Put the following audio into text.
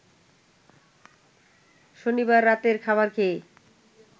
শনিবার রাতের খাবার খেয়ে